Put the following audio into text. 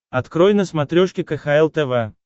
открой на смотрешке кхл тв